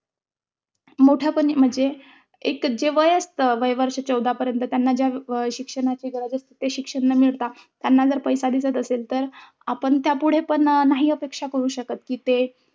मोठ्यापणी म्हणजे एक जे वय असतं वय वर्ष चौदापर्यंत त्यांना ज्या शिक्षणाची गरज असते. ते शिक्षण न मिळता त्यांना जर पैसा दिसत असेल तर, आपण त्यापुढे पण नाही अपेक्षा करू शकत कि ते,